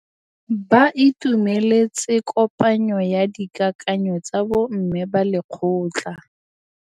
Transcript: Ba itumeletse kôpanyo ya dikakanyô tsa bo mme ba lekgotla.